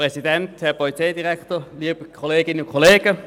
Kommissionssprecher der FiKo.